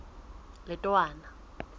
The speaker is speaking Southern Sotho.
letowana